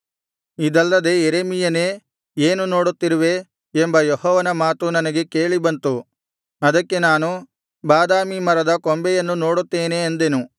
ಇದಲ್ಲದೆ ಯೆರೆಮೀಯನೇ ಏನು ನೋಡುತ್ತಿರುವೆ ಎಂಬ ಯೆಹೋವನ ಮಾತು ನನಗೆ ಕೇಳಿ ಬಂತು ಅದಕ್ಕೆ ನಾನು ಬಾದಾಮಿ ಮರದ ಕೊಂಬೆಯನ್ನು ನೋಡುತ್ತೇನೆ ಅಂದೆನು